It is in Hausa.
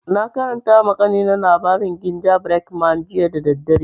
Na karanta ma kanina labarin gingerbread man jiya da daddare